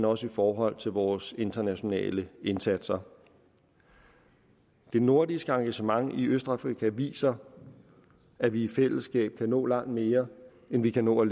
også i forhold til vores internationale indsatser det nordiske engagement i østafrika viser at vi i fællesskab kan nå langt mere end vi kan nå